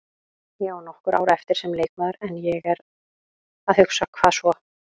Ég á nokkur ár eftir sem leikmaður en ég er að hugsa, hvað svo?